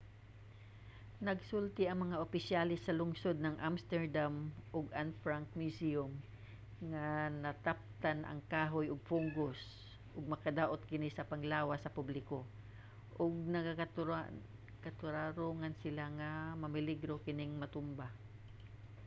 nagsulti ang mga opisyales sa lungsod sa amsterdam ug anne frank museum nga nataptan ang kahoy og fungus ug makadaot kini sa panglawas sa publiko ug nangatarongan sila nga nameligro kining matumba